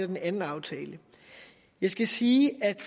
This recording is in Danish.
den anden aftale jeg skal sige at